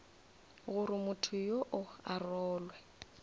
gore motho yoo a rolwe